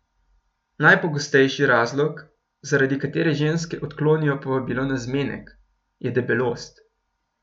Najpogostejši razlog, zaradi katere ženske odklonijo povabilo na zmenek, je debelost.